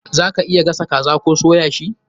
Za ka iya gasa kaza koh soya shi.